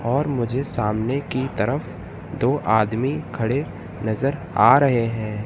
और मुझे सामने की तरफ दो आदमी खड़े नजर आ रहे हैं।